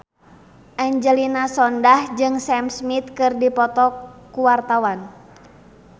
Angelina Sondakh jeung Sam Smith keur dipoto ku wartawan